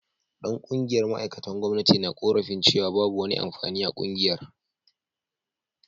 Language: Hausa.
Dan kungiyar ma’aikatan gwamnati na korafin cewa babu wani amfani a kungiyar